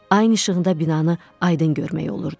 Ayın işığında binanı aydın görmək olurdu.